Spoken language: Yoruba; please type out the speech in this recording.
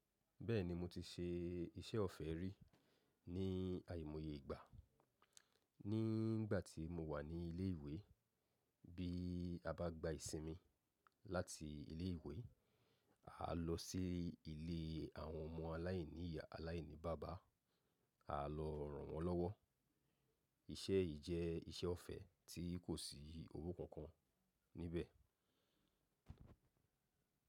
Bẹ́ẹ̀ni, mo ti ṣe iṣẹ́ ọ̀fẹ́ rí ní àìmọye ìgbà. Ní ìgbà tí mo wà ní ilé ìwé, bí a bá gba ìsinmi láti ilé ìwé, a lọ sí ilé àwọn ọmọ aláìní ìyá aláìní bàbá, a lọ ràn wọ́n lọ́wọ́. Iṣẹ́ yìí jẹ́ iṣẹ́ ọ̀fẹ́ tí kò sí owó kankan níbẹ̀.